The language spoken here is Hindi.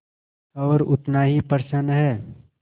और उतना ही प्रसन्न है